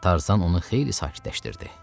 Tarzan onu xeyli sakitləşdirdi.